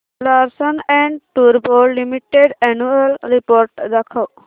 Larsen and टुर्बो limited annual report दाखव